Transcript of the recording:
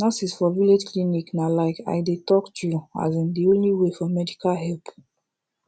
nurses for village clinic na like i dey talk true asin de only way for medical help